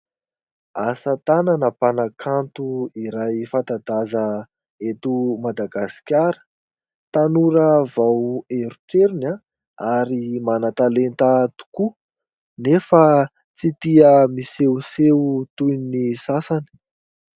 Asatanana mpanakanto iray fanta-daza eto Madagasikara. Tanora vao erotrerona ary manan-talenta tokoa nefa tsy tia misehoseho toy ny sasany.